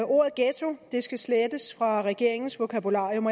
ordet ghetto skal slettes fra regeringens vokabularium